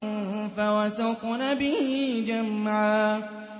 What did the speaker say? فَوَسَطْنَ بِهِ جَمْعًا